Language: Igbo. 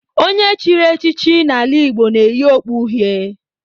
Onye e chiri echichi n'ala Igbo na-eyi okpu uhie